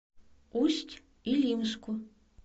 усть илимску